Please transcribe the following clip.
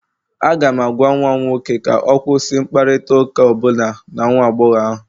Aga m agwa nwa m nwoke ka ọ kwụsị mkparịta ụka ọ bụla na nwa agbọghọ ahụ